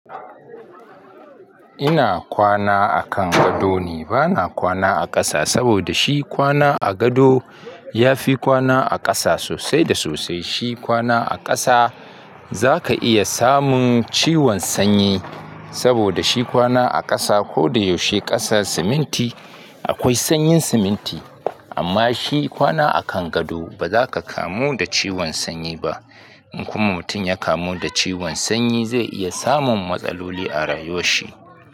Ina kwana a kan gado ne bana kwana a ƙasa saboda shi kwana a gado ya fi kwana a ƙasa sosai da sosai. Shi kwana a ƙasa zaka iya samun ciwon sanyi saboda shi kwana a ƙasa ko da yaushe ƙasa siminti akwai sanyin siminti amma shi kwana a kan gado bazaka kamu da ciwon sanyi ba. In kuma mutum ya kamu da ciwon sanyi zai iya samun matsaloli a rayuwar shi.